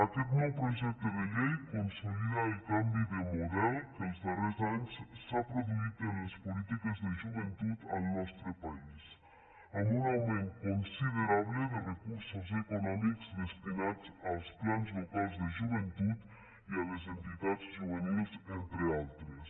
aquest nou projecte de llei consolida el canvi de model que els darrers anys s’ha produït en les polítiques de joventut en el nostre país amb un augment considerable de recursos econòmics destinats als plans locals de joventut i a les entitats juvenils entre d’altres